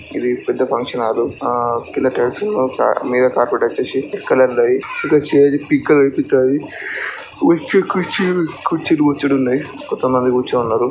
ఇది పెద్ద function hall ఆ కింద టైల్స్ ఏమో ఒక మీద కార్పెట్ వచ్చేసి రెడ్ కలర్ ల ఉంది. ఇంకా స్టేజి పింక్ కలర్ ల కనిపిస్తుంది. బొచ్చెడు కుర్చీలు ఉన్నాయి. కుర్చీలు బొచ్చెడు ఉన్నాయి. కొంతమంది కూర్చుని ఉన్నారు.